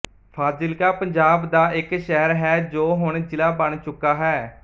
ਫ਼ਾਜ਼ਿਲਕਾ ਪੰਜਾਬ ਦਾ ਇੱਕ ਸ਼ਹਿਰ ਹੈ ਜੋ ਹੁਣ ਜਿਲਾ ਬਣ ਚੁੱਕਾ ਹੈ